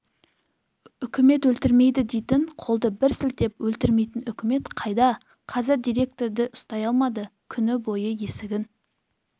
үкімет өлтірмейді дейтін қолды бір сілтеп өлтірмейтін үкімет қайда қазір директорды ұстай алмады күні бойы есігін